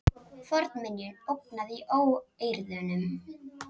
Fornminjum ógnað í óeirðunum